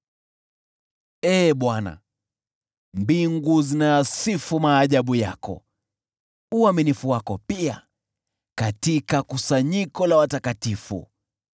Ee Bwana , mbingu zinayasifu maajabu yako, uaminifu wako pia katika kusanyiko la watakatifu.